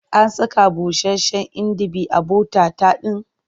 An saka busasshen inibi a bota-tat ɗin?